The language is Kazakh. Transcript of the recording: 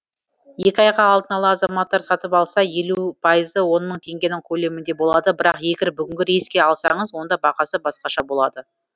екі айға алдын ала азаматтар сатып алса елу пайызы он мың теңгенің көлемінде болады бірақ егер бүгінгі рейске алсаңыз онда бағасы басқаша болады